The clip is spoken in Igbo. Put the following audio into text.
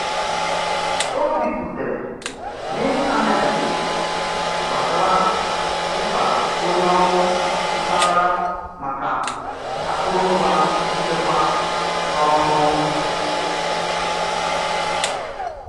O biputere n'ịntanetị gbasara mkpa onye ọrụ mpaghara maka akụrụngwa nchekwa na'ọrụ.